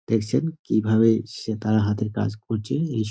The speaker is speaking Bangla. দেখছেন কীভাবে সে তারা হাতের কাজ করছে এই স--